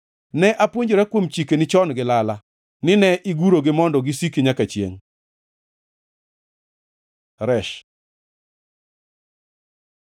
Ne apuonjora kuom chikeni chon gi lala, ni ne igurogi mondo gisiki nyaka chiengʼ. ר Resh